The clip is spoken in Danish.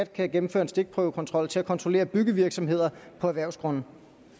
kan gennemføre en stikprøvekontrol til at kontrollere byggevirksomheder på erhvervsgrunde